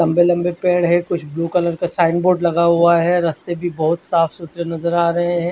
लम्बे लम्बे पेड़ है कुछ ब्लू कलर का साइन बोर्ड लगा हुआ है रस्ते भी बोहोत साफ़ सुथरे नज़र आ रहे है।